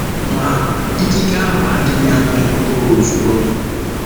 Ma, ikike ahụ adịghị amị mkpụrụ ozugbo.